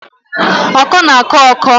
Ọkọ na-akọ ọkọ